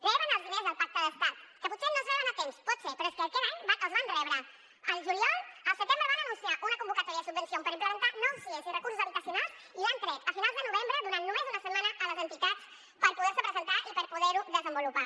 reben els diners del pacte d’estat que potser no es reben a temps pot ser però és que aquest any els van rebre el juliol el setembre van anunciar una convocatòria de subvencions per implementar nou sies i recursos habitacionals i l’han tret a finals de novembre i han donat només una setmana a les entitats per poder se presentar i per poder ho desenvolupar